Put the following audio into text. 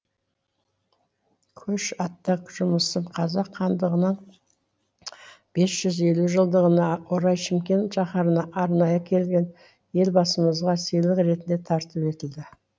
көш атты жұмысым қазақ хандығының бес жүз елу жылдығына орай шымкент шаһарына арнайы келген елбасымызға сыйлық ретінде тарту етілді